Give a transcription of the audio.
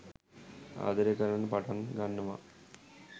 ආදරය කරන්න පටන් ගන්නවා